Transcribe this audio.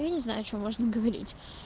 я не знаю что можно говорить